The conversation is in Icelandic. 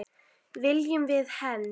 Viljum við hefnd?